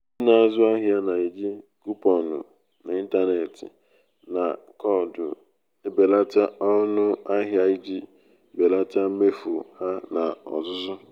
ndị na-azụ ahịa na-eji kuponụ n'ịntanetị na koodu ebelata ọnụ ahịa iji belata mmefu ha n'ozuzu